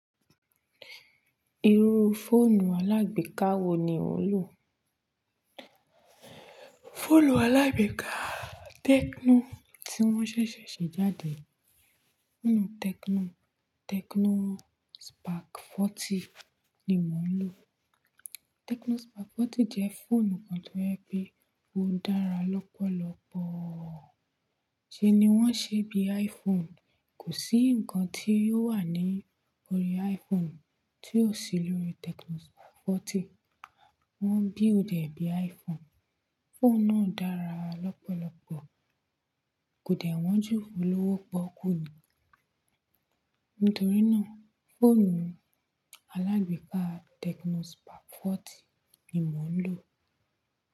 Irú fóònù alágbèéká wo ni ò ń lò? Fóònù alágbèéká Tecno tí wón ṣéṣè ṣe jáde. Fóònù Tecno, Tecno Spark 40 ni mò ń lò. Tecno Spark 40 jẹ́ fóònù kan tó ń ẹ́ bí ó dára lọ́pọ̀lọpọ̀. Ṣé ni wọ́n ṣe bí iPhone, kò sí ǹkan tí ó wà ní orí iPhone tí ò sí lórí Tecno Spark 40. Wọ́n build ee bí iPhone. Fóònù náà dára lọ́pọ̀lọpọ̀, kò dẹ̀ wọ́n jù olówó pọ́ọ́kú ni. Nítorí náà, fóònù alágbèéká Tecno Spark 40 ni mò ń lò.